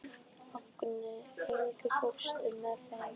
Agni, ekki fórstu með þeim?